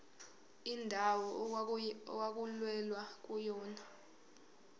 indawo okwakulwelwa kuyona